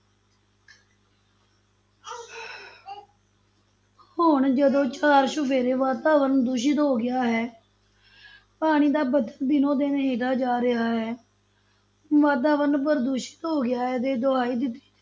ਹੁਣ ਜਦੋਂ ਚਾਰ-ਚੁਫੇਰੇ ਵਾਤਾਵਰਨ ਦੂਸ਼ਤ ਹੋ ਗਿਆ ਹੈ ਪਾਣੀ ਦਾ ਪੱਧਰ ਦਿਨੋ-ਦਿਨ ਹੇਠਾਂ ਜਾ ਰਿਹਾ ਹੈ, ਵਾਤਾਵਰਨ ਪ੍ਰਦੂਸ਼ਿਤ ਹੋ ਗਿਆ ਹੈ ਤੇ ਦੁਹਾਈ ਦਿੱਤੀ